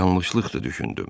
Yanlışlıqdır düşündüm.